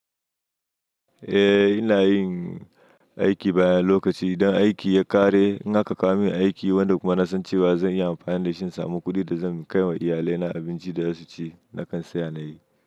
Eh ina yin aiki bayan lokaci. Idan aiki ya ƙare, in haka ka kawo min aiki wanda kuma na san cewa zan iya amfani da shi in samu kuɗin da zan kai wa iyalina abinci da za su ci, nakan tsaya na yi.